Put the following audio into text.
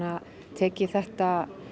tekið þetta